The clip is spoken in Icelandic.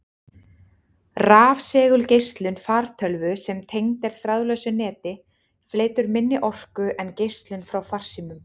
Rafsegulgeislun fartölvu sem tengd er þráðlausu neti, flytur minni orku en geislun frá farsímum.